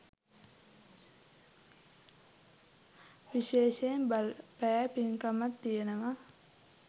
විශේෂයෙන් බලපෑ පින්කමක් තියෙනවා.